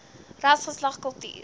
ras geslag kultuur